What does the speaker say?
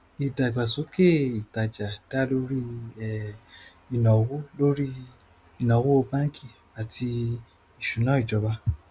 ìdàgbàsókè ìtajà dá lórí ìnáwó lórí ìnáwó báńkì àti ìṣúnná ìjọba